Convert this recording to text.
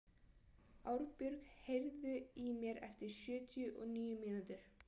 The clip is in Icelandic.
Árbjörg, heyrðu í mér eftir sjötíu og níu mínútur.